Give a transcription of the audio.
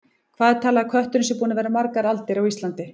Hvað er talið að kötturinn sé búinn að vera margar aldir á Íslandi?